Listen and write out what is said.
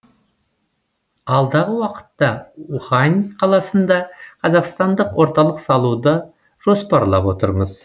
алдағы уақытта ухань қаласында қазақстандық орталық салуды жоспарлап отырмыз